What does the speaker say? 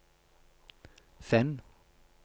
send